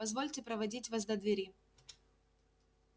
позвольте проводить вас до двери